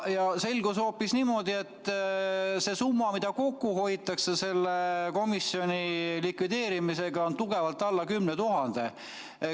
Ja selgus hoopis niimoodi, et see summa, mida kokku hoitakse selle komisjoni likvideerimisega, on tugevalt alla 10 000.